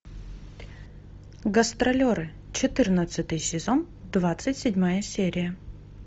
гастролеры четырнадцатый сезон двадцать седьмая серия